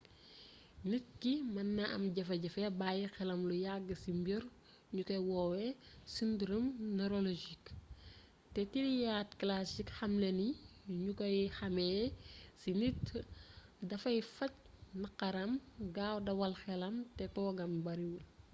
nit ki mën na am jafe-jafe bàyyi xelam lu yàgg ci mbir ñu koy woowe syndrome neurologique te triade classique xamle ni ñu koy xàmmee ci nit dafay faj naqaram gaaw dawal xelam te toogam bariwul